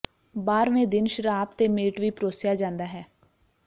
ਬਾਰ੍ਹਵੇਂ ਦਿਨ ਸ਼ਰਾਬ ਤੇ ਮੀਟ ਵੀ ਪਰੋਸਿਆ ਜਾਂਦਾ ਹੈ